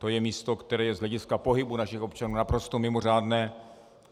To je místo, které je z hlediska pohybu našich občanů naprosto mimořádné.